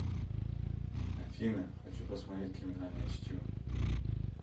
афина хочу посмотреть криминальное чтиво